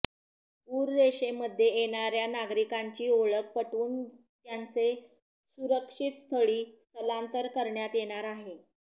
पूररेषेमध्ये येणाऱया नागरिकांची ओळख पटवून त्यांचे सुरक्षितस्थळी स्थलांतर करण्यात येणार आहे